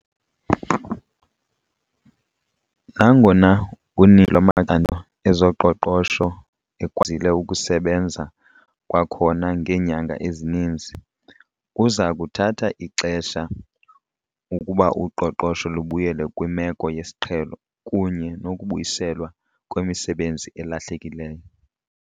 Nangona uninzi lwamacandelo ezoqoqosho ekwazile ukusebenza kwakhona ngeenyanga ezininzi, kuza kuthatha ixesha ukuba uqoqosho lubuyele kwimeko yesiqhelo kunye nokubuyiselwa kwemisebenzi elahlekileyo.